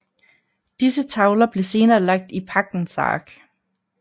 Disse tavler blev senere lagt i Pagtens Ark